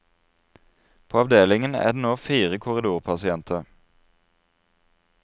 På avdelingen er det nå fire korridorpasienter.